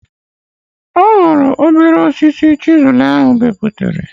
Ọ hụrụ obere osisi chịzụl ahụ beputara